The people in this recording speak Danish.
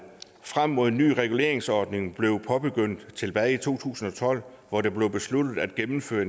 frem mod en ny reguleringsordning blev påbegyndt tilbage i to tusind og tolv hvor det blev besluttet at gennemføre